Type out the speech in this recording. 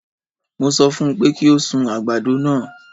Mo sọ fún un pé kí ó sun àgbàdo náà.